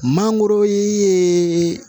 Mangoro ye